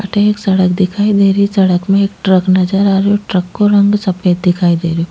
अठे एक सड़क दिखाई दे रही सड़क में एक ट्रक नजर आ रहो ट्रक को रंग सफ़ेद दिखाई दे रो।